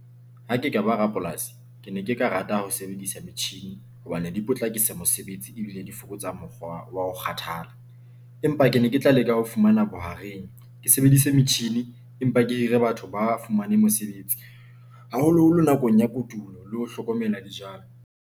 Ha ke ka ba rapolasi ke ne ke ka rata ho sebedisa metjhini hobane di potlakisa mosebetsi ebile di fokotsa mokgwa wa ho kgathala. Empa ke ne ke tla leka ho fumana bohareng ke sebedise metjhini. Empa ke hire batho ba fumane mesebetsi haholoholo nakong ya kotulo, le ho hlokomela dijalo.